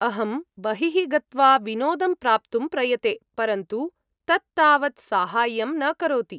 अहं बहिः गत्वा विनोदं प्राप्तुं प्रयते, परन्तु तत् तावत् साहाय्यं न करोति।